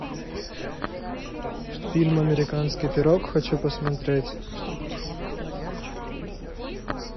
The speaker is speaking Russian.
фильм американский пирог хочу посмотреть